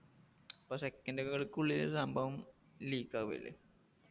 second കൾക്കുള്ളില് സംഭവം leak ആവുഅല്ലെ